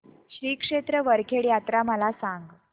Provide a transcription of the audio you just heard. श्री क्षेत्र वरखेड यात्रा मला सांग